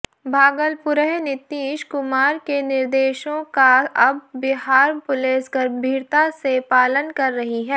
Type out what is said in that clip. भागलपुरः नीतीश कुमार के निर्देशों का अब बिहार पुलिस गंभीरता से पालन कर रही है